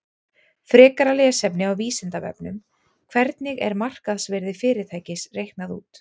Frekara lesefni á Vísindavefnum: Hvernig er markaðsvirði fyrirtækis reiknað út?